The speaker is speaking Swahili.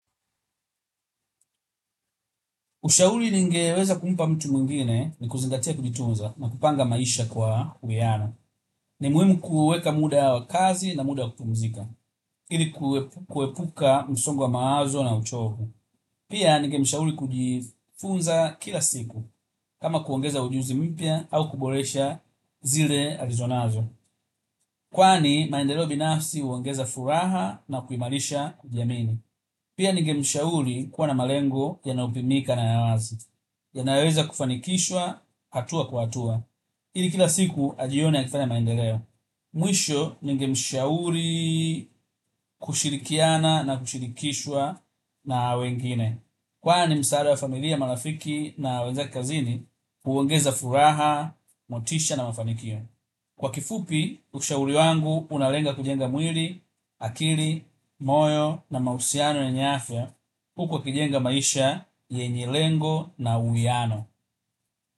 Ushauri ningeweza kumpa mtu mwingine ni kuzingatia kujitunza na kupanga maisha kwa uwiano. Ni muhimu kuweka muda wa kazi na muda wa kupumzika. Ili kuepuka msongo wa mawazo na uchovu. Pia ningemshauri kujifunza kila siku. Kama kuongeza ujuzi mpya au kuboresha zile alizonazo. Kwani maendeleo binafsi huongeza furaha na kuimarisha kujiamini. Pia ningemshauri kuwa na malengo yanayopimika na ya wazi. Yanayoweza kufanikishwa hatua kwa hatua. Ili kila siku ajione akifanya maendeleo. Mwisho ningemshauri kushirikiana na kushirikishwa na wengine. Kwani msaada wa familia, marafiki na wenzake kazini huongeza furaha, motisha na mafanikio. Kwa kifupi, ushauri wangu unalenga kujenga mwili, akili, moyo na mahusiano yenye afya, huku akijenga maisha yenye malengo na uwiano.